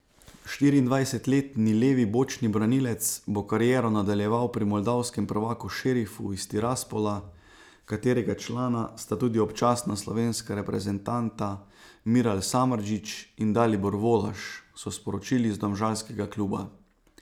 Štiriindvajsetletni levi bočni branilec bo kariero nadaljeval pri moldavskem prvaku Šerifu iz Tiraspola, katerega člana sta tudi občasna slovenska reprezentanta Miral Samardžić in Dalibor Volaš, so sporočili iz domžalskega kluba.